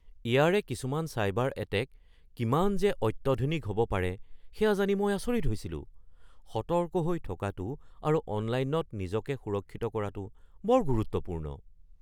ইয়াৰে কিছুমান cyber attack কিমান যে অত্যধুনিক হ’ব পাৰে সেয়া জানি মই আচৰিত হৈছিলোঁ। সতৰ্ক হৈ থকাটো আৰু অনলাইনত নিজকে সুৰক্ষিত কৰাটো বৰ গুৰুত্বপূৰ্ণ।